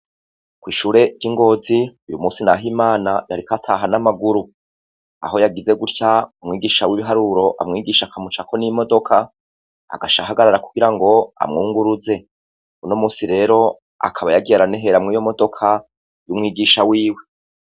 Kw'ishure ry'i Ngozi, uyu musi Nahimana yariko ataha n'amaguru. Aho yagize gutya, mwigisha w'ibiharuro amwigisha akamucako n'imodoka. Agaca ahagarara kugira ngo amwunguruze. Uno musi rero, akaba yagiye aranehera muri iyo modoka, y'umwigisha wiwe.